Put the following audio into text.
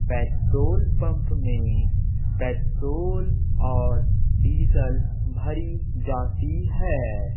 Petrol pump में petrol और diesel भरी जाती है।